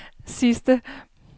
sidste